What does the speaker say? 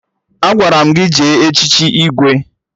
Agwara m gị jee echichi Igwe!